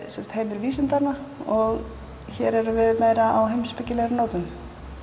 heimur vísindanna og hér erum við meira á heimspekilegri nótum